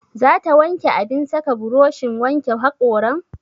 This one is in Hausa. Za ta wanke abin saka burushin wanke haƙoran?